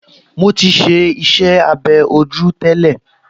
Mo ti ṣe iṣẹ́-abẹ́ ojú tẹ́lẹ̀